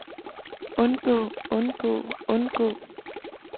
undgå undgå undgå